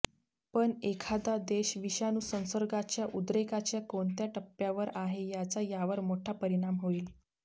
पण एखादा देश विषाणू संसर्गाच्या उद्रेकाच्या कोणत्या टप्प्यावर आहे याचा यावर मोठा परिणाम होईल